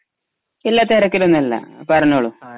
ഇല്ല. തിരക്കിലൊന്നും അല്ല. പറഞ്ഞോളൂ